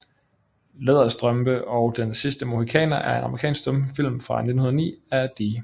Læderstrømpe og Den sidste Mohikaner er en amerikansk stumfilm fra 1909 af D